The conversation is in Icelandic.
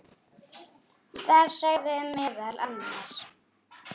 Þar sagði meðal annars